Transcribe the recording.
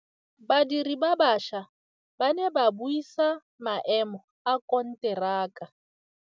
Badiri ba baša ba ne ba buisa maêmô a konteraka.